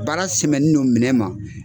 Baara sɛmɛni n'o minɛn ma.